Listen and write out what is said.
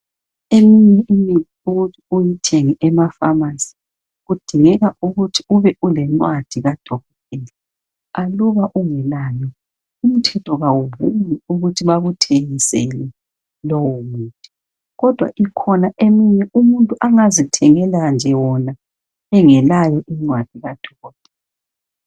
Eminye imithi ukuthi uyithenge emapharmacy, kudingeka , ukurhi ube ulencwadi kadokotela. Aluba ungelayo, umthetho kawuvumi, ukuthi bakuthengisele lowomuthi. Kodwa ikhona eminye umuntu angazithengela nje wona ,engalayo incwadi kadokotela.